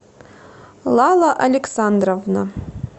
лала александровна